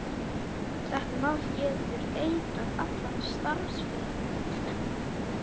Þetta mál getur eitrað allan starfsferil minn.